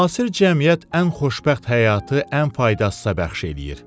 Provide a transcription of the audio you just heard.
Müasir cəmiyyət ən xoşbəxt həyatı ən faydasıza bəxş eləyir.